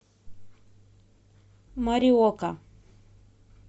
мориока